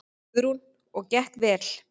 Guðrún: Og gekk vel?